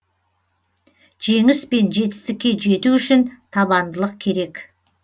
жеңіс пен жетістікке жету үшін табандылық керек